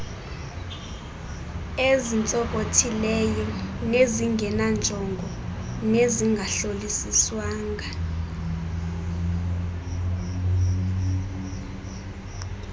ezintsonkothileyo ezingenanjongo nezingahlolisiswanga